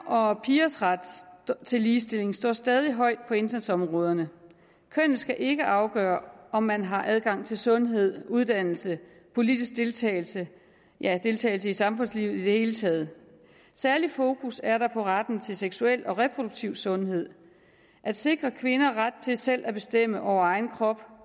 og pigers ret til ligestilling står stadig højt på indsatsområderne kønnet skal ikke afgøre om man har adgang til sundhed uddannelse politisk deltagelse ja deltagelse i samfundslivet i det hele taget særlig fokus er der på retten til seksuel og reproduktiv sundhed at sikre kvinder ret til selv at bestemme over egen krop